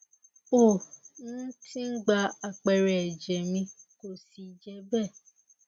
ó um ti gba àpẹẹrẹ ẹjẹ mi kò sì je be